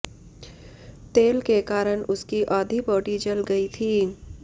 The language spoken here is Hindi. तेल के कारण उसकी आधी बॉडी जल गई थी